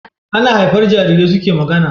Ana haifar Jarirai suke magAna